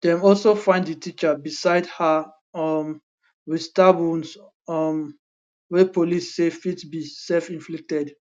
dem also find di teacher beside her um wit stab wounds um wey police say fit be selfinflicted